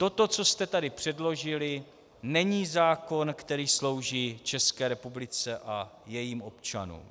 Toto, co jste tu předložili, není zákon, který slouží České republice a jejím občanům.